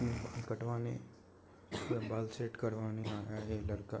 बाल कटवाने या बाल सेट करवाने आया है ये लड़का।